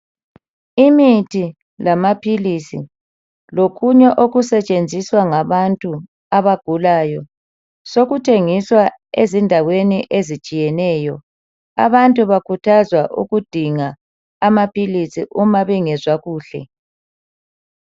Imithi lamaphilisi lokunye okusetshenziswa ngabantu abagulayo sokuthengiswa ezindaweni ezitshiyeneyo. Abantu bakhuthazwa ukudinga amaphilisi uma bengezwa kuhle.